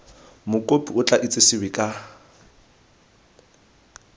mokopi o tla itsesewe ka